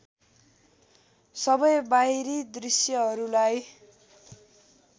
सबै बाहिरी दृश्यहरूलाई